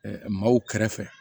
maaw kɛrɛfɛ